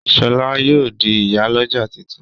Shola yóò di ìyá l'ọja títún.